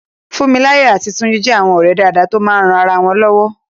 Fúnmiláyọ̀ àti Túnjí jẹ́ àwọn ọ̀rẹ́ dáadáa tó máa ń ran ara wọn lọ́wọ́